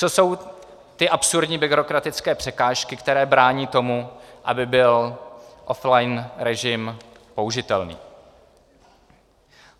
Co jsou ty absurdní byrokratické překážky, které brání tomu, aby byl offline režim použitelný?